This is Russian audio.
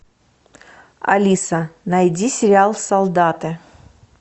алиса найди сериал солдаты